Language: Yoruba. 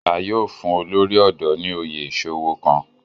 A yóò fun olori ọdọ ni oyè iṣowo kan